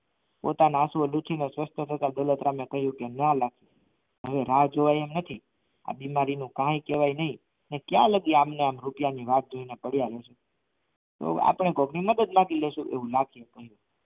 પોતાના આંસુઓ લૂછી ને દોલતરામ ને કહ્યું કે હવે રાહ જોવાય એમ નથી આ બીમારીનો કાંઈ કહેવાય નહીં ક્યાં લગી રૂપિયા ની પડ્યા રહીશું તો આપણે કોક ની મદદ માંગી લઈશું એવું લાગશે તો